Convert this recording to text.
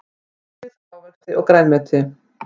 Brauð ávexti grænmeti.